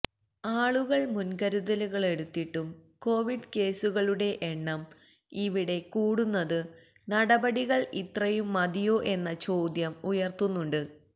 ആളുകള് മുന്കരുതലുകളെടുത്തിട്ടും കോവിഡ് കേസുകളുടെ എണ്ണം ഇവിടെ കൂടുന്നതു നടപടികള് ഇത്രയും മതിയോ എന്ന ചോദ്യം ഉയര്ത്തുന്നുണ്ട്